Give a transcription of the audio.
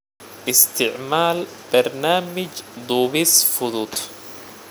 Isticmaal barnaamij duubis fudud.